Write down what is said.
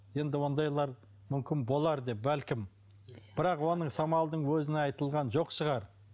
енді ондайлар мүмкін болар деп бәлкім бірақ оның самалдың өзіне айтылған жоқ шығар